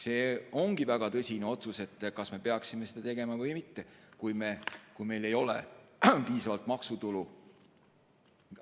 See on väga tõsine otsus: kas me peaksime seda tegema või mitte, kui meil ei ole piisavalt maksutulu?